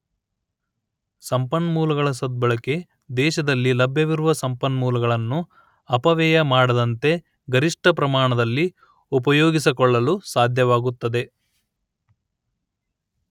ಸಂಪನ್ಮೂಲಗಳ ಸದ್ಭಳಕೆ ದೇಶದಲ್ಲಿ ಲಭ್ಯವಿರುವ ಸಂಪನ್ಮೂಲಗಳನ್ನು ಅಪವ್ಯಯ ಮಾಡದಂತೆ ಗರಿಷ್ಠ ಪ್ರಮಾಣದಲ್ಲಿ ಉಪಯೋಗಿಸಿಕೊಳ್ಳಲು ಸಾಧ್ಯವಾಗುತ್ತದೆ